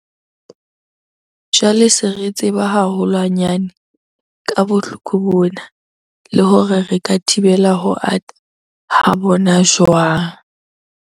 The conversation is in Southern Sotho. Jwale se re tseba haholwanyane ka bohloko bona le hore re ka thibela ho ata ha bona jwang.